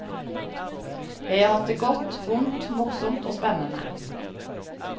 Jeg har hatt det godt, vondt, morsomt og spennende.